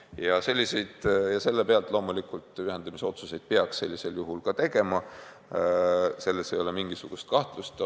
Ja sellisel juhul peaks loomulikult tegema ühendamise otsuse, selles ei ole mingisugust kahtlust olnud.